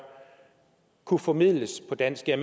kunne formidles på dansk jeg